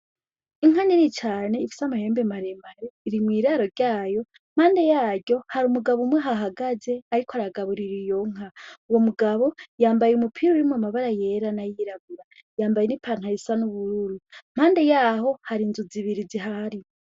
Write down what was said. Inka nini cane ufise amahembe maremare, iri mw'iraro ryaryo. Impande yaryo hari umugabo umwe ahahagaze, ariko aragaburira iyonka. Uwo mugabo, yambaye umupira urimwo amabara yera n'ayirabura, yambaye n'ipantaro isa n'ubururu. Impande yaho hari inzu zibiri zihari.